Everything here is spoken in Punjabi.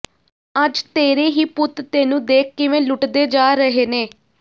ਅੱਜ ਤੇਰੇ ਹੀ ਪੁੱਤ ਤੈਨੂੰ ਦੇਖ ਕਿਵੇਂ ਲੁੱਟਦੇ ਜਾ ਰਹੇ ਨੇ